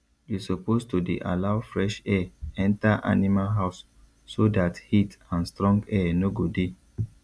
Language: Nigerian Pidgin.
you suppose to dey allow fresh air enter animal house so dat heat and strong air no go dey